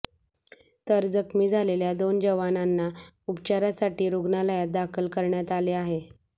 तर जखमी झालेल्या दोन जवानामना उपचारासाठी रुग्णालयात दाखल करण्यात आले आहे